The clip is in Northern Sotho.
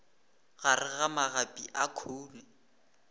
gare ga magapi a khoune